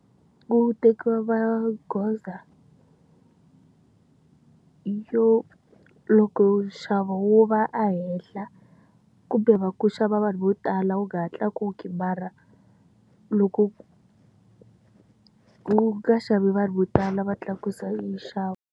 Ku tekiwa magoza yo loko nxavo wu va ehenhla, kumbe ku xava vanhu vo tala wu nga ha tlakuki mara, loko ku nga xavi vanhu vo tala va tlakusa nxavo.